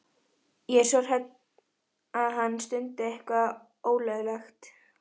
Ég er svo hrædd um að hann stundi eitthvað ólöglegt.